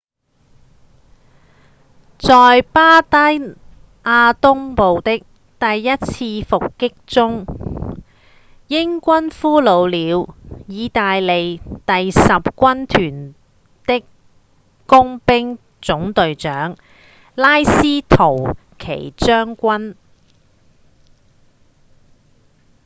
在巴第亞東部的一次伏擊中英軍俘虜了義大利第十軍團的工兵總隊長拉斯圖奇將軍